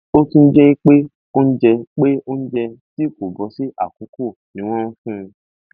ó tún jẹ pé oúnjẹ pé oúnjẹ tí kò bọ sí àkókò ni wọn fún un